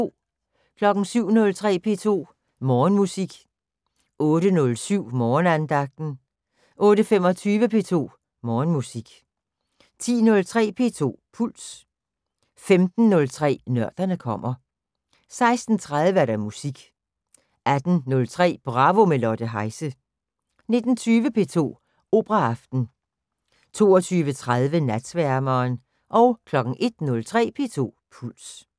07:03: P2 Morgenmusik 08:07: Morgenandagten 08:25: P2 Morgenmusik 10:03: P2 Puls 15:03: Nørderne kommer 16:30: Musik 18:03: Bravo – med Lotte Heise 19:20: P2 Operaaften 22:30: Natsværmeren 01:03: P2 Puls